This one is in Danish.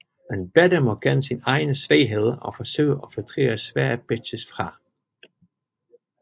En batter må kende sine egne svagheder og forsøge at filtrere svære pitches fra